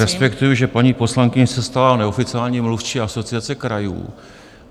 Respektuji, že paní poslankyně se stala neoficiální mluvčí Asociace krajů.